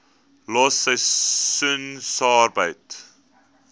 los seisoensarbeid